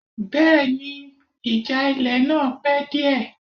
Bẹ́ẹ̀ni, ìjà ilẹ̀ náà pẹ́ díẹ̀